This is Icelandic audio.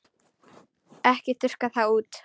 Ekki þurrka það út.